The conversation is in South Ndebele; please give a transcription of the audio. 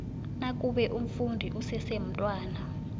nakube umfundi usesemntwana